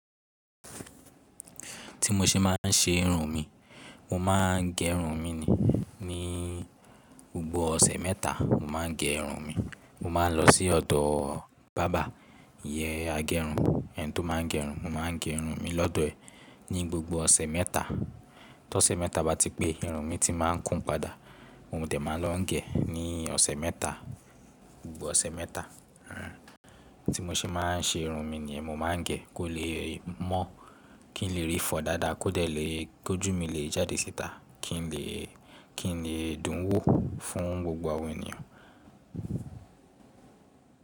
Ti mo ṣe ma n ṣe irun mi, mo ma n ge irun mi ni, ni gbogbo ọ̀sẹ̀ mẹ́ta mo ma n ge irun mi. Mo ma n lọ sí ọ̀dọ̀ barber ìyẹ́n agẹrun, ẹni tó má n ge irun. Mo ma n ge irun mi lọ́dọ̀ ẹ̀ ní gbogbo ọ̀sẹ̀ mẹ́ta. Tí ọ̀sẹ̀ mẹ́ta bá ti pé, irun mi ti ma n kún padà mo dẹ̀ má lọ ń gẹ̀ ní ọ̀sẹ̀ mẹ́ta, gbogbo ọ̀sẹ̀ mẹ́ta. Hmm, tí mo ṣe ma n ṣe irun mi nìyẹn, mo ma n ge kó lè mọ́, kí n lè rí fọ́ dáadáa, kó dẹ̀ lè, kó jú mi lè jáde síta, kí n lè dùn wò fún gbogbo àwọn ènìyàn.